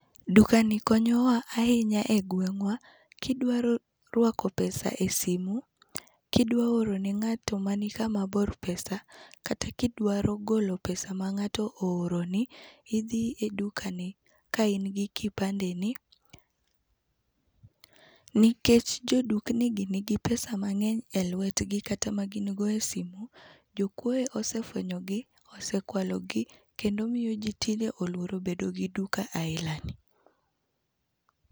Dukani konyowa ahinya e gwengwa, kidwaro rwako pesa e simu, kidwa oro ne ngato mani kama bor pesa kata kidwaro golo pesa ma ngato ooroni idhi e dukani gi ka in gi kipande ni . Nikech jo dukni gi nigi pesa mangeny e lwetgi kata magin go e simu, jokuoe osefwenyogi ,osekwalogi kendo miyo jii tinde oluore bedo gi duka aila ni